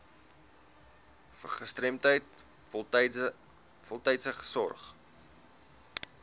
gestremdheid voltydse sorg